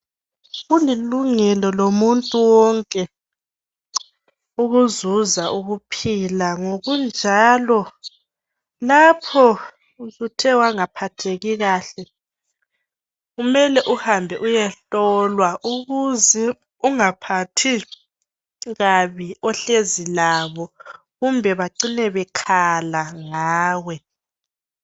Kulilungelo lomuntu wonke ukuzuza ukuphila ngokunjalo lapho usuthe wangaphatheki kahle kumele uhambe ukuyehlolwa ukuze ungaphathi kabi ohlezi labo kumbe bacine bekhala ngawe